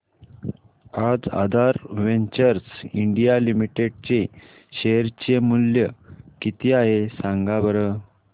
आज Aadhaar ventures India limited चे share चे मूल्य किती आहे सांगा बरं